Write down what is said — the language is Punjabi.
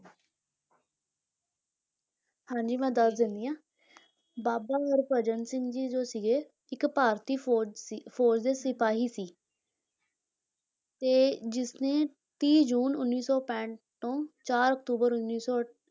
ਹਾਂਜੀ ਮੈਂ ਦੱਸ ਦਿੰਦੀ ਹਾਂ ਬਾਬਾ ਹਰਭਜਨ ਸਿੰਘ ਜੀ ਜੋ ਸੀਗੇ, ਇੱਕ ਭਾਰਤੀ ਫ਼ੌਜ ਸੀ, ਫ਼ੌਜ ਦੇ ਸਿਪਾਹੀ ਸੀ ਤੇ ਜਿਸਨੇ ਤੀਹ ਜੂਨ ਉੱਨੀ ਸੌ ਪੈਂਹਠ ਤੋਂ ਚਾਰ ਅਕਤੂਬਰ ਉੱਨੀ ਸੌ